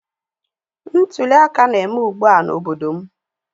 Ntuli aka na-eme ugbua n'obodo m